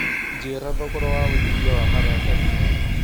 njĩira thogora wa wĩigĩthĩa wa maratathi